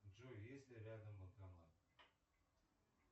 джой есть ли рядом банкомат